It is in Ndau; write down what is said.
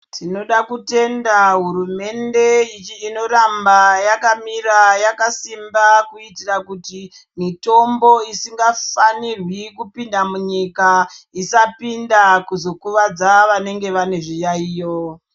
Tinoda kutenda hurumende inoramba yakamira yakasimba. Kuitira kuti mitombo isingafanirwi kupinda munyika isapinda kuzokuvadza vanenge vane zviyaiyo.